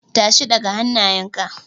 Tashi, ɗaga hannayenka!